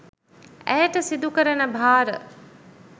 ඇයට සිදුකරන භාර